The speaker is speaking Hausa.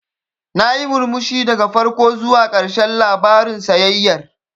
Nayi murmushi daga farko zuwa ƙarshen labarin sayayyar.